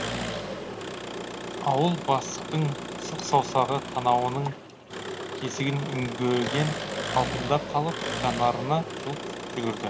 ауыл бастықтың сұқ саусағы танауының тесігін үңгіген қалпында қалып жанарына жылт жүгірді